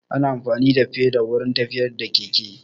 Ana amfani da feda wurin tafiya da keke